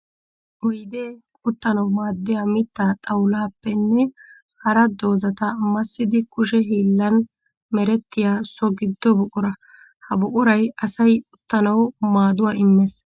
Oydde uttanawu maadiya mitta xawulappenne hara doozatta massiddi kushe hiillan merettiya so gido buqura. Ha buquray asay uttanawu maaduwa immes.